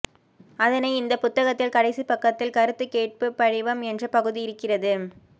அதனை இந்த புத்தகத்தில் கடைசிப் பக்கத்தில் கருத்து கேட்பு படிவம் என்ற பகுதி இருக்கிறது